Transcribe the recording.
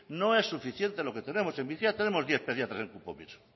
no es suficiente lo que tenemos en bizkaia tenemos diez pediatras en